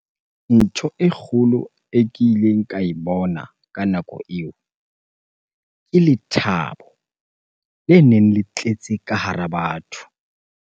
Ntho e kgolo e kileng ka e bona ka nako eo, ke lethabo le neng le tletse ka hara batho.